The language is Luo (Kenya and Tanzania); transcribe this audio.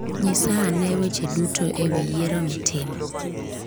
Nyisa ane weche duto e wi yiero mitimo.